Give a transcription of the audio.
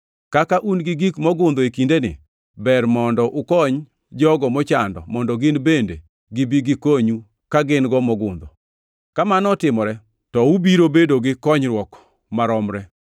Kaka un gi gik mogundho e kindeni, ber mondo ukony jogo mochando mondo gin bende gibi gikonyu ka gin-go mogundho. Kamano otimore to ubiro bedo gi konyruok maromre,